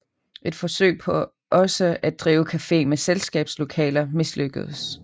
Et forsøg på også at drive cafe med selskabslokaler mislykkedes